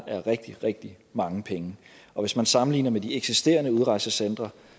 er rigtig rigtig mange penge og hvis man sammenligner med de eksisterende udrejsecentre